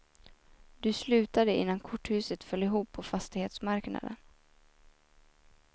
Du slutade innan korthuset föll ihop på fastighetsmarknaden.